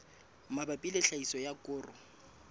mabapi le tlhahiso ya koro